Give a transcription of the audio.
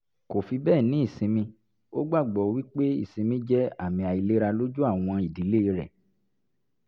kò fi bẹ́ẹ̀ ní ìsinmi ó gbàgbọ́ wí pé ìsinmi jẹ́ àmì àìlera lójú àwọn ìdílé rẹ̀